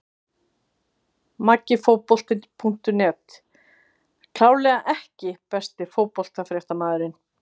Maggi Fótbolti.net klárlega EKKI besti íþróttafréttamaðurinn?